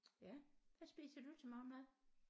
Ja hvad spiser du til morgenmad